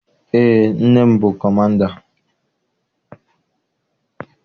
Eé, nne m bụ kọmanda